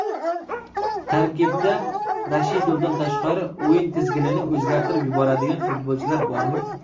Tarkibda Rashidovdan tashqari o‘yin tizginini o‘zgartirib yuboradigan futbolchilar bormi?